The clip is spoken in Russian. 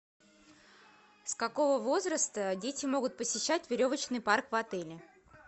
с какого возраста дети могут посещать веревочный парк в отеле